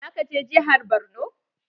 Zaka je jihar Borno?